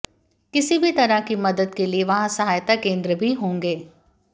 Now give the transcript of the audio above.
किसी भी तरह की मदद के लिए वहां सहायता केंद्र भी होंगे